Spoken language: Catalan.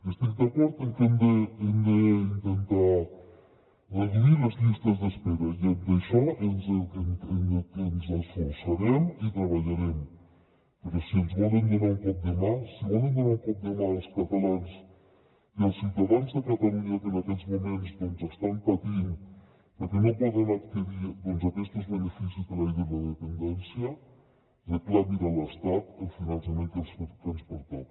estic d’acord que hem d’intentar reduir les llistes d’espera i en això ens esforçarem i hi treballarem però si ens volen donar un cop de mà si volen donar un cop de mà als catalans i als ciutadans de catalunya que en aquests moments doncs estan patint perquè no poden adquirir aquests beneficis per llei de la dependència reclamin a l’estat el finançament que ens pertoca